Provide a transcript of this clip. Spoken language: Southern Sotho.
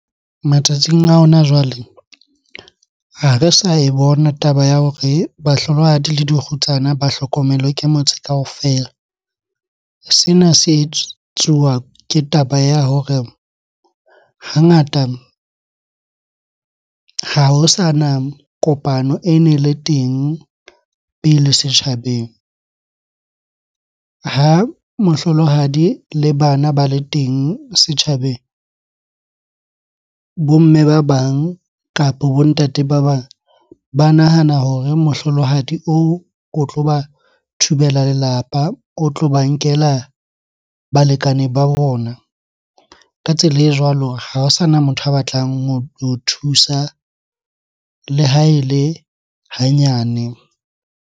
Matsatsing a hona jwale ha re sa e bona taba ya hore bahlolohadi le dikgutsana ba hlokomelwe ke motse kaofela. Sena se etsuwa ke taba ya hore hangata ha ho sana kopano ene le teng pele setjhabeng. Ha mohlolohadi le bana ba le teng setjhabeng, bo mme ba bang kapo bo ntate ba bang ba nahana hore mohlolohadi oo o tloba thubela lelapa, o tlo ba nkela balekane ba bona. Ka tsela e jwalo ha ho sana motho a batlang ho thusa le ha ele hanyane.